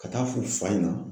Ka taa f'u fa ɲɛna.